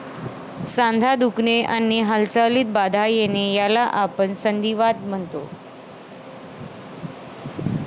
सांधा दुखणे आणि हालचालीत बाधा येणे याला आपण संधीवात म्हणतो.